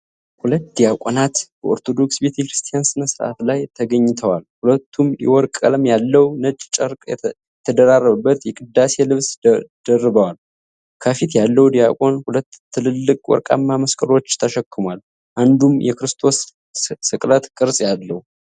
ሁለት ዲያቆናት በኦርቶዶክስ ቤተክርስቲያን ሥነ ሥርዓት ላይ ተገኝተዋል። ሁለቱም የወርቅ ቀለም ያለው፣ ነጭ ጨርቅ የተደራረበበት የቅዳሴ ልብስ ደርበዋል። ከፊት ያለው ዲያቆን ሁለት ትልልቅ ወርቃማ መስቀሎች ተሸክሟል፣ አንዱም የክርስቶስ ስቅለት ቅርጽ አለው።